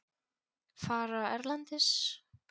Fara erlendis?